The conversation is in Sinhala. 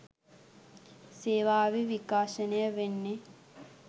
සේවාවේ විකාශනය වෙන්නේ